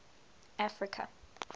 africa